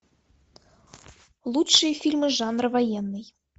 лучшие фильмы жанра военный